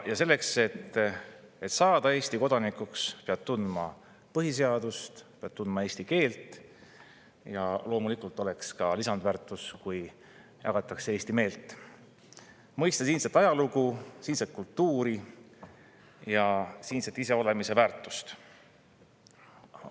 Selleks, et saada Eesti kodanikuks, peab tundma põhiseadust, peab tundma eesti keelt – loomulikult oleks lisandväärtus, kui jagatakse ka eesti meelt –, mõistma siinset ajalugu, siinset kultuuri ja siinset iseolemise väärtust.